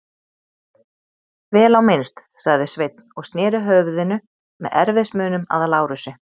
Vel á minnst, sagði Sveinn og sneri höfðinu með erfiðismunum að Lárusi.